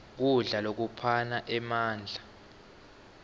kudla lokuphana emandla